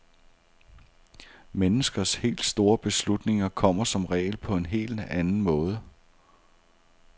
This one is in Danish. Menneskers helt store beslutninger kommer som regel på en helt anden måde.